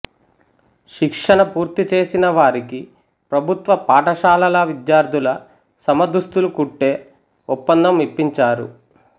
శిక్షణ పూరిచేసినవారికి ప్రభుత్వ పాఠశాలల విద్యార్థుల సమదుస్తులు కుట్టే ఒప్పందం ఇప్పించారు